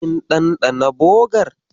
Kin ɗanɗana bogar?